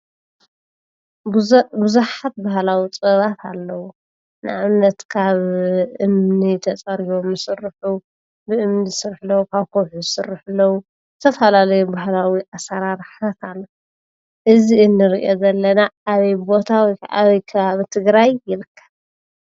ቡዙሕ ቡዙሓት ባህላዊ ጥበባት አለው፡፡ ንአብነት ካብ እምኒ ተፀሪቦም ዝስርሑ፣ ብእምኒ ዝስርሑ ለው፣ ካብ ከውሒ ዝስርሑ ለው፡፡ ዝተፈላለዩ ባህላዊ አሰራርሓታት አለው፡፡ እዚ እንሪኦ ዘለና አበይ ቦታ ወይ ከዓ አበይ ከባቢ ትግራይ ይርከብ?